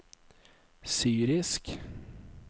syrisk